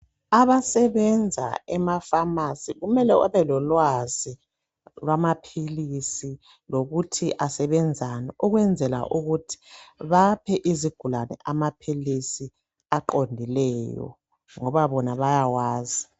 Abasebenza emaphamarcy kumeoe babe lolwazi lwamaphilisi, lokuthi asebenzani. Ukuze baphe izigulane amaphilisi aqondileyo, ngoba bona bayawazi.